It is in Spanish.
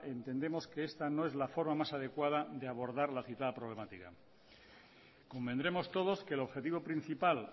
entendemos que esta no es la forma más adecuada de abordar la citada problemática convendremos todos que el objetivo principal